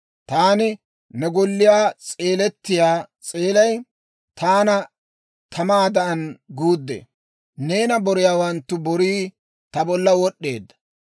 Taani ne golliyaw seelettiyaa seelay, taana tamaadan guuddee; neena boriyaawanttu borii ta bolla wod'd'eedda.